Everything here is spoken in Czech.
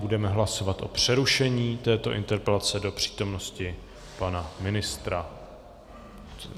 Budeme hlasovat o přerušení této interpelace do přítomnosti pana ministra.